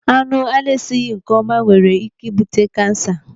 Anụ ana-esighị nkeọma nwere ike ị bute kansa.